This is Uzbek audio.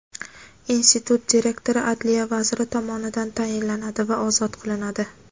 Institut direktori adliya vaziri tomonidan tayinlanadi va ozod qilinadi.